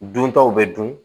Duntaw bɛ dun